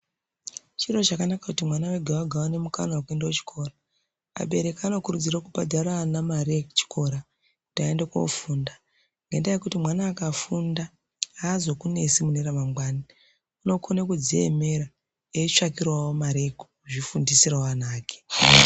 Chiro chakanaka kuti mwana wega wega aone mukana wekuenda kuchikora, abereki anokurudzira kubhadhara mare ana yekuchikora kuti aende koofunda, ngendaa yekuti mwana angafunda azokunesi mune ramangwani, unokone kudziemera eitsvakirawo mari yekuzvifundisirawo ana ake.